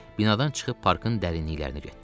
Binadan çıxıb parkın dərinliklərinə getdilər.